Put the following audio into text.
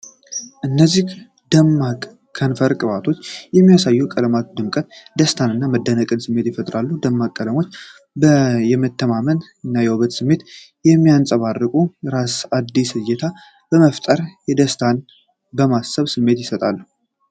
እነዚህ ደማቅ የከንፈር ቅባቶች በሚያሳዩት የቀለማት ድምቀት፣ የደስታ እና የመደነቅ ስሜት ይፈጥራሉ። ደማቅ ቀለሞቻቸው የመተማመን እና የውበት ስሜትን ስለሚያንጸባርቁ፣ ለራስ አዲስ እይታ በመፍጠር የደስታና የመሳሳብ ስሜት ይሰጣሉ።